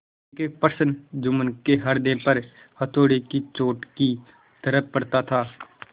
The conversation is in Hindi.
एकएक प्रश्न जुम्मन के हृदय पर हथौड़े की चोट की तरह पड़ता था